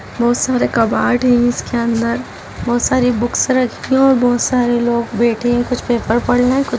बहुत सारे कबाड़ है इसके अंदर बहुत सारी बुक्स रखी है बहुत सारे लोग बैठे है कुछ पेपर पढ़ रहे है कु --